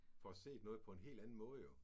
Får set noget på en helt anden måde jo